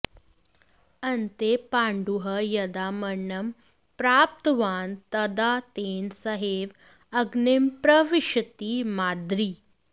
अन्ते पाण्डुः यदा मरणं प्राप्तवान् तदा तेन सहैव अग्निं प्रविशति माद्री